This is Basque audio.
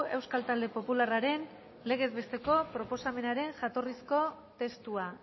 euskal talde popularraren legez besteko proposamenaren jatorrizko testua